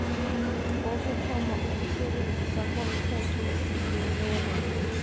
kokuthoma ukusebenza komthethosisekelo